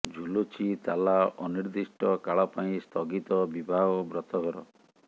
ଝୁଲୁଛି ତାଲା ଅନିର୍ଦ୍ଦିଷ୍ଟ କାଳ ପାଇଁ ସ୍ଥଗିତ ବିବାହ ଓ ବ୍ରତଘର